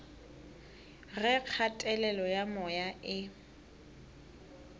ge kgatelelo ya moya e